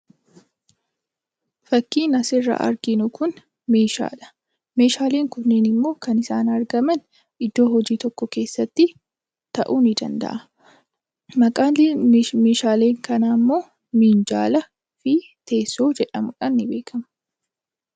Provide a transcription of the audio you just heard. Fakkiin asirraa arginu kun meeshaadha. Meeshaaleen kunimmoo kan isaan argaman iddoo hojii tokko keesstti ta'uu ni danda’a. Maqaan meeshaalee kanaa immoo Minjaalaa fi Teessoo jedhamuun ni beekama.